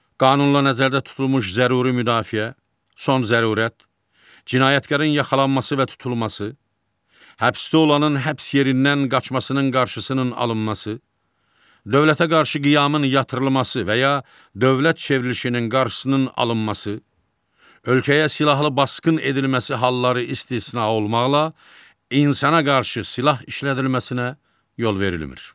Qanunla nəzərdə tutulmuş zəruri müdafiə, son zərurət, cinayətkarın yaxalanması və tutulması, həbsdə olanın həbs yerindən qaçmasının qarşısının alınması, dövlətə qarşı qiyamın yatırılması və ya dövlət çevrilişinin qarşısının alınması, ölkəyə silahlı basqın edilməsi halları istisna olmaqla insana qarşı silah işlədilməsinə yol verilmir.